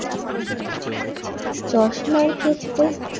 চশমার ক্ষেত্রে